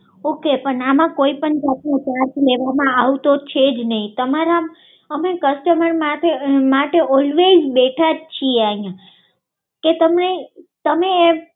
okay પણ આમાં કોઈ પણ જાતનો ચાર્જ લેવામાં આવતો છે નઈ તમારા અમે કસ્ટમર માટે ઓલ્વેઝ બેઠા જ છે